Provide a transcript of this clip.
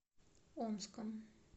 омском